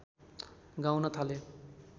गाउन थाले